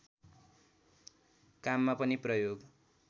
काममा पनि प्रयोग